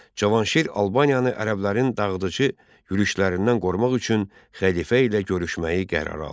Cavanşir Albaniyanı ərəblərin dağıdıcı yürüşlərindən qorumaq üçün xəlifə ilə görüşməyi qərara aldı.